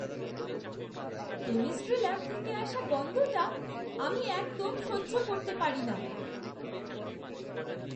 Chemistry lab থেকে আসা গন্ধটা আমি একদম সহ্য করতে পারি না।